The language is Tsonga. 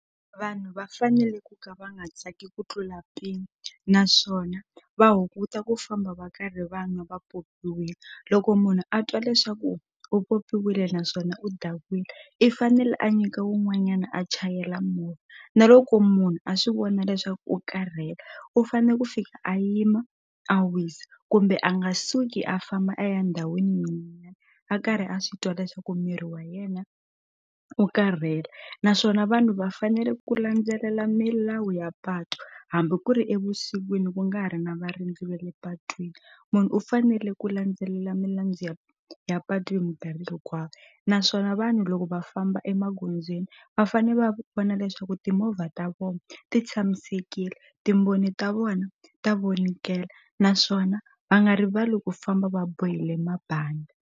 Vanhu va fanele ku ka va nga tsaki ku tlula mpimo naswona va hunguta ku famba va karhi va nwa va popiwile loko munhu a twa leswaku u popiwile naswona u dakwile i fanele a nyika wun'wanyana a chayela movha na loko munhu a swi vona leswaku u karhele u fane ku fika a yima a wisa kumbe a nga suki a famba a ya ndhawini a karhi a swi twa leswaku miri wa yena wu karhele naswona vanhu va fanele ku landzelela milawu ya patu hambi ku ri evusikwini ku nga ha ri na varindzi va le patwini munhu u fanele ku landzelela ya ya patu hi mikarhi hinkwayo naswona vanhu loko va famba emagondzweni va fane va vona leswaku timovha ta vona ti tshamisekile timboni ta vona ta vonikela naswona va nga rivali ku famba va bohile mabandi.